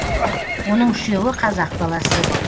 оның үшеуі қазақ баласы